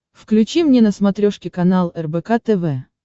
включи мне на смотрешке канал рбк тв